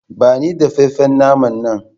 Bani dafaffen naman nan!